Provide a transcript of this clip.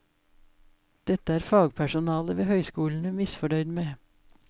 Dette er fagpersonalet ved høyskolene misfornøyd med.